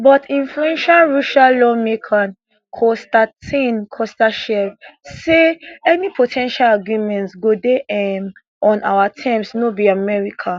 but influential russian lawmaker kostantin kosachev say any po ten tial agreements go dey um on our terms no be american